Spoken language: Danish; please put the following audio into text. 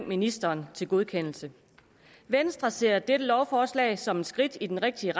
ministeren til godkendelse venstre ser dette lovforslag som et skridt i den rigtige